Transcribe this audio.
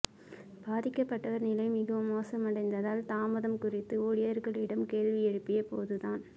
பாதிக்கப்பட்டவா் நிலை மிகவும் மோசமடைந்தால் தாமதம் குறித்து ஊழியா்களிடம் கேள்வி எழுப்பியபோதுதான்